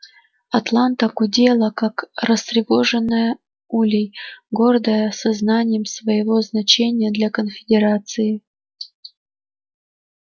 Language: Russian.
атланта гудела как растревоженная улей гордая сознанием своего значения для конфедерации